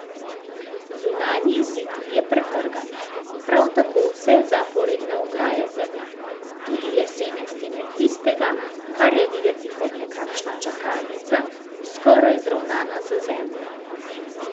Zunanji zid je pretrgan, prav tako vse zaporedne ograje za njim, tudi lesene stene tistega, kar je videti kot nekakšna čakalnica, skoraj zravnana z zemljo.